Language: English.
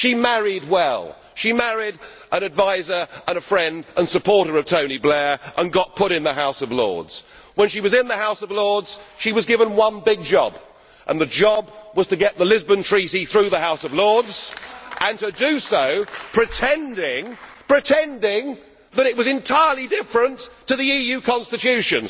She married well she married an adviser, friend and supporter of Tony Blair and got put in the House of Lords. When she was in the House of Lords, she was given one big job, and that job was to get the Lisbon Treaty through the House of Lords and to do so pretending that it was entirely different to the EU Constitution.